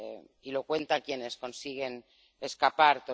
Y lo cuentan quienes consiguen escapar.